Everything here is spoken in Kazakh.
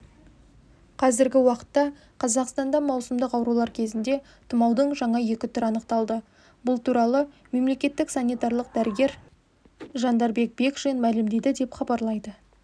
қазіргі уақытта қазақстанда маусымдық аурулар кезінде тұмаудың жаңа екі түрі анықталды бұл туралы мемлекеттік санитарлық дәрігер жандарбек бекшин мәлімдеді деп хабарлайды